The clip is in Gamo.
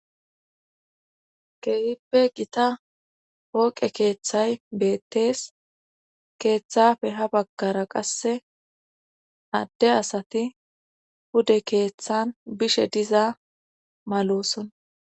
keehipbe gita poqe keeththay beettees keeththafe ha baggara qasse adde asati bude keeththan bishe diza malosona